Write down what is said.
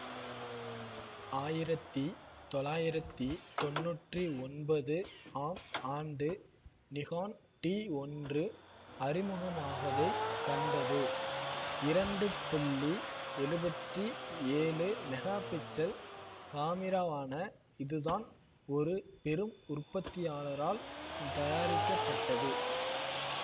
ஆயிரத்தி தொளாயிரத்தி தொன்னூற்றி ஒன்பது ஆம் ஆண்டு நிகான் டிஒன்று அறிமுகமாவதைக் கண்டது இரண்டு புள்ளி எழுபத்தி ஏழு மெகாபிக்சல் காமிராவான இதுதான் ஒரு பெரும் உற்பத்தியாளரால் தயாரிக்கப்பட்டது